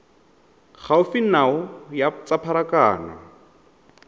gaufi nao ya tsa pharakano